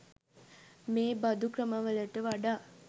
මේ බඳු ක්‍රමවලට වඩා